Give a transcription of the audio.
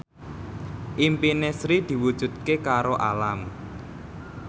impine Sri diwujudke karo Alam